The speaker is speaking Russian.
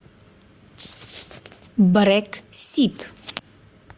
брексит